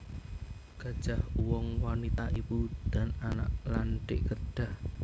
Gajah Uwong Wanita Ibu dan Anak lan Dik Kedah